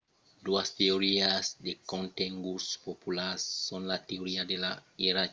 doas teorias de contenguts popularas son la teoria de la ierarquia dels besonhs de maslow e la teoria dels dos factors de hertzberg